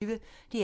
DR P1